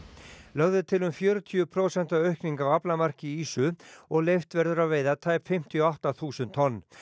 lögð er til um fjörutíu prósenta aukning á aflamarki ýsu og leyft verður að veiða tæp fimmtíu og átta þúsund tonn